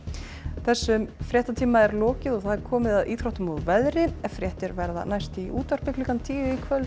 þessum fréttatíma er lokið og komið að íþróttum og veðri fréttir verða næst í útvarpi klukkan tíu í kvöld